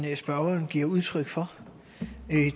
spørgeren giver udtryk for